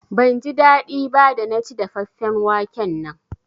Ban ji daɗi ba da na ci dafaffen waken nan